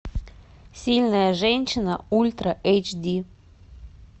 сильная женщина ультра эйч ди